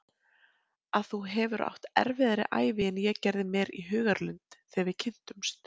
Að þú hefur átt erfiðari ævi en ég gerði mér í hugarlund þegar við kynntumst.